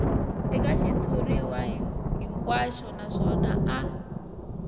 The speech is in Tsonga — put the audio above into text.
eka xitshuriwa hinkwaxo naswona a